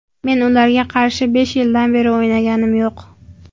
Men ularga qarshi besh yildan beri o‘ynaganim yo‘q.